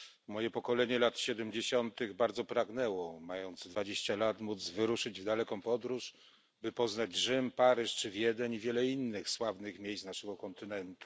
Moje pokolenie lat 70. bardzo pragnęło, mając dwadzieścia lat, móc wyruszyć w daleką podróż, by poznać Rzym, Paryż czy Wiedeń i wiele innych sławnych miejsc naszego kontynentu.